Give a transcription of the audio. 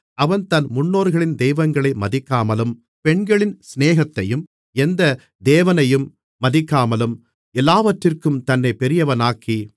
அவன் தன் முன்னோர்களின் தெய்வங்களை மதிக்காமலும் பெண்களின் சிநேகத்தையும் எந்த தேவனையும் மதிக்காமலும் எல்லாவற்றிற்கும் தன்னைப் பெரியவனாக்கி